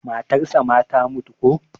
matarsa ma ta mutu ko?